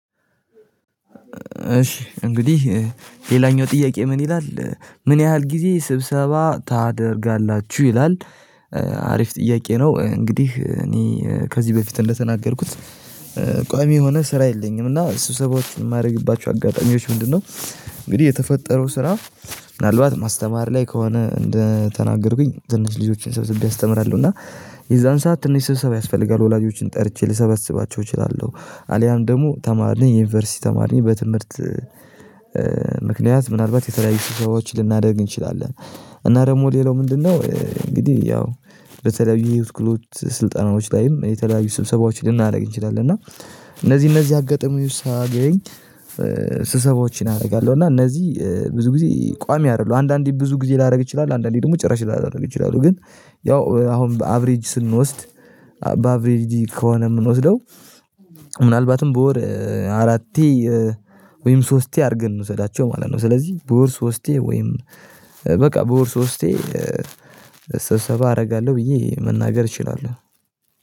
እሺ እንግዲህ ሌላኛው ጥያቄ ምን ይላል ምን ያህል ጊዜ ስብሰባ ታደርጋላችሁ ይላል? አሪፍ ጥያቄ ነው እንግዲህ እኔ ከዚህ በፊት እንደተናገርኩት ቋሚ የሆነ ስራ የለኝም እና እሱ ሰባችን የማደርግባችሁ አጋጣሚዎች ምንድነው? እንግዲህ የተፈጠረው ስራ ምናልባት ማስተማር ላይ ከሆነ እንደተናገርኩኝ ዝንች ልጆችን ሰብስቤ አስተምራለሁ እና የዛን ሰዓት ትንሽ ስብሰባ ያስፈልጋል ወላጆችን ጠርቼ ልሰበስባቸው እችላለሁ። አልያም ደግሞ ተማርን የዩኒቨርሲቲ ተማርን በትምህርት ምክንያት ምናልባት የተለያየ ሰዎችን ልናደርግ እንችላለን። እና ደግሞ ሌላው ምንድነው እንግዲህ ያው በተለያዩ የህይወት ክህሎት ስልጠናዎች ላይም የተለያዩ ስብሰባዎችን ልናደርግ እንችላለን። እና እነዚህ እነዚህ አገጥሞኝ ሳያገኝ ስሰቦችን አደርጋለሁ። እና እነዚህ ብዙ ጊዜ ቋሚ አይደለም አንዳንዴ ብዙ ጊዜ ላደርግ ይችላል አንዳንዴ ደግሞ ጭራሽ ላደርግ ይችላሉ። ግን ያው አሁን በአቨሪጅ ስንወስድ በአቨሪጅ ከሆነ የምንወስደው ምናልባትም በወር አራቴ ወይም ሶስቴ አድርገን ነው ዘላቸው ማለት ነው። ስለዚህ በወር ሶስቴ ወይም በቃ በወር ሶስቴ ሰብሰባ አደርጋለሁ ብዬ መናገር እችላለሁ